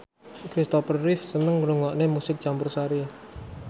Christopher Reeve seneng ngrungokne musik campursari